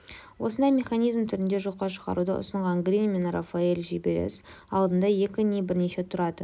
осындай механизм түрінде жоққа шығаруды ұсынған грин мен рафаэл жіберіс алдында екі не бірнеше туратын